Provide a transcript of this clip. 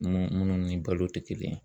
Nun munnu ni balo tɛ kelen ye.